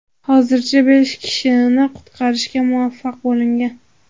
Hozircha besh kishini qutqarishga muvaffaq bo‘lingan.